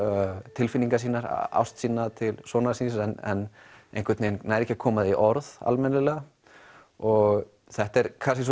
tilfinningar sínar ást sína til sonar síns en einhvern veginn nær ekki að koma því í orð almennilega og þetta er kannski